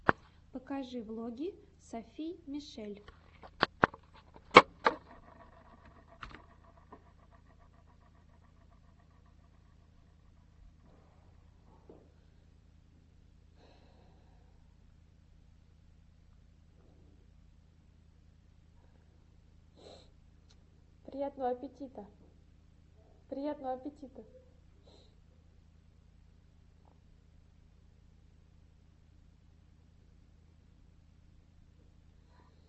покажи влоги софи мишель